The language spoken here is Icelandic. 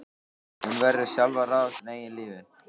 Hún verður sjálf að ráða sínu eigin lífi.